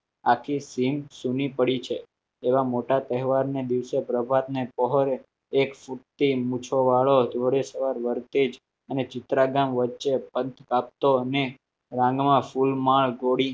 આખી સિંક સુની પડી છે એવા મોટા તહેવારને દિવસે પ્રભાતને પહોળે એક પુટ્ટી મૂછોવાળો જોડે સવાર વરતેજ અને ચિત્રા ગામ વચ્ચે બંધ ભાગતો અને રાનમાં ફૂલમાં ગોળી